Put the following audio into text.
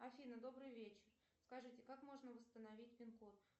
афина добрый вечер скажите как можно восстановить пин код